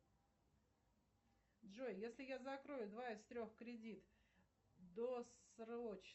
джой если я закрою два из трех кредит досрочно